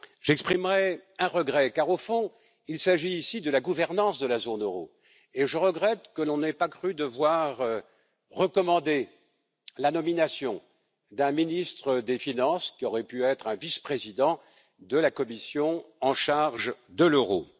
J'exprimerai un regret car, au fond, il s'agit ici de la gouvernance de la zone euro, et je regrette que l'on n'ait pas cru devoir recommander la nomination d'un ministre des finances, qui aurait pu être un vice président de la Commission en charge de l'euro.